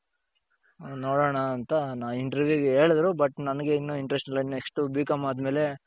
ನೋಡಣ ಅಂತ interview ಗೆ ಹೇಳುದ್ರು but ನನಗೆ ಇನ್ನು interest ಇಲ್ಲ next B.com ಆದ್ಮೇಲೆ,